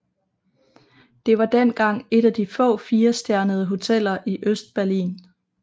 Det var dengang et af de få firestjernede hoteller i Østberlin